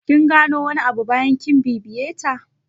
Kin gano wani abu bayan kin bibiye ta?